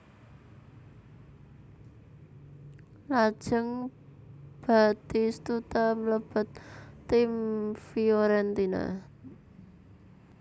Lajeng Batistuta mlebet tim Fiorentina